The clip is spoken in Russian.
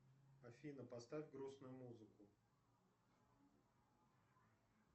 афина поставь грустную музыку